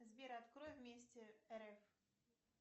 сбер открой вместе рф